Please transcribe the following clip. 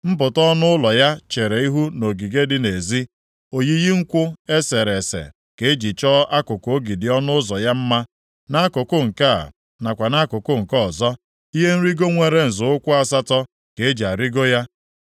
Mpụta ọnụ ụlọ ya chere ihu nʼogige dị nʼezi. Oyiyi nkwụ e sere ese ka eji chọọ akụkụ ogidi ọnụ ụzọ ya mma, nʼakụkụ nke a, nakwa nʼakụkụ nke ọzọ. Ihe nrigo nwere nzọ ụkwụ asatọ ka eji arịgo ya.